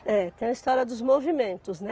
É, tem a história dos movimentos, né?